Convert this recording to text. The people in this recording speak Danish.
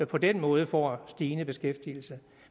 på den måde får en stigende beskæftigelse